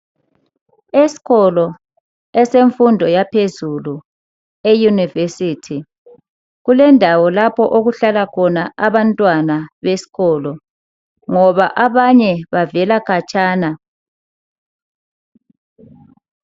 Esikolo esemfundo yaphezulu e University kulendawo lapho okuhlala khona abantwana besikolo ngoba abanye bavela khatshana.